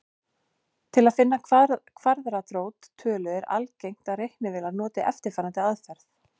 Til að finna kvaðratrót tölu er algengt að reiknivélar noti eftirfarandi aðferð.